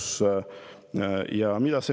Mida see näitab?